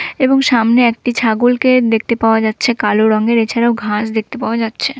এবং সামনে একটি ছাগলকে দেখতে পাওয়া যাচ্ছে কালো রঙের। এছাড়াও ঘাস দেখতে পাওয়া যাচ্ছে-এ।